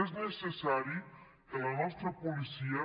és necessari que la nostra policia